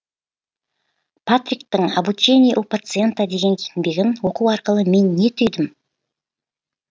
патриктың обучение у пациента деген еңбегін оқу арқылы мен не түйдім